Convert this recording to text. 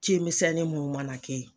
Ci misɛnnin mun mana ke ye